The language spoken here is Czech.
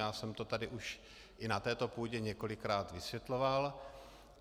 Já jsem to tady už i na této půdě několikrát vysvětloval.